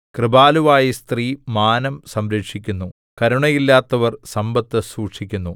കൃപാലുവായ സ്ത്രീ മാനം സംരക്ഷിക്കുന്നു കരുണയില്ലാത്തവർ സമ്പത്ത് സൂക്ഷിക്കുന്നു